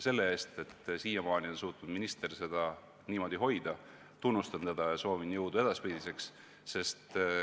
Selle eest, et siiamaani on suutnud minister seda niimoodi hoida, ma tunnustan teda ja soovin jõudu edaspidiseks.